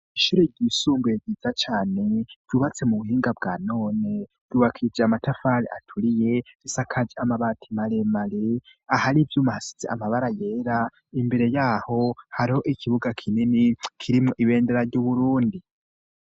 Ishure ryisumbuye ryiza cane byubatse mu buhinga bwa none. ryubakije amatafali aturiye isakaj amabati male mare ahari ibyumahasitsi amabara yera imbere yaho hariho ikibuga kinini kirimu ibendera ry'uburundi.